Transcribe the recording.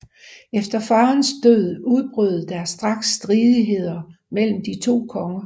Efter farens død udbrød der straks stridheder mellem de to konger